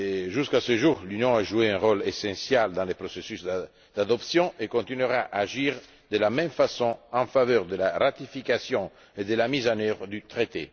Jusqu'à ce jour, l'Union a joué un rôle essentiel dans le processus d'adoption et continuera à agir de la même façon en faveur de la ratification et de la mise en œuvre du traité.